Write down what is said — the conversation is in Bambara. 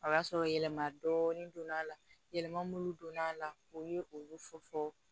O y'a sɔrɔ yɛlɛma dɔɔni donn'a la yɛlɛma minnu donn'a la o ye olu fɔ fɔ